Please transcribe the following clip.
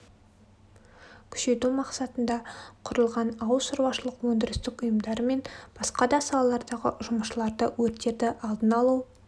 күшейту мақсатында құрылған ауыл шаруашылық өндірістік ұйымдары мен басқа да салалардағы жұмысшыларда өрттерді алдын алу